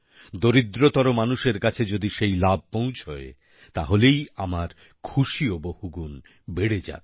দরিদ্রতর মানুষের কাছে যদি সেই লাভ পৌঁছয় তাহলেই আমার খুশিও বহুগুণে বেড়ে যাবে